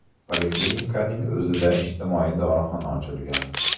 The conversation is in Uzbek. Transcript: Poliklinikaning o‘zida ijtimoiy dorixona ochilgan.